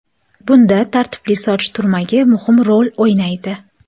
Bunda tartibli soch turmagi muhim rol o‘ynaydi.